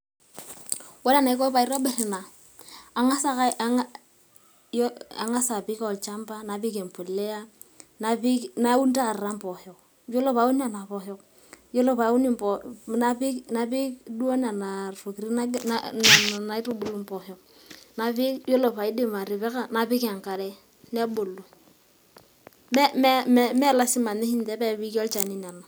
Ore enaiko pee atobir ina, ang'as ake apik olchamba napik impolea napik naun taata impoosho, ore peyie aun impoosho, napik duo nana tokiti nayieuni napik enkare nebulu. Me lasima pee piki olchani.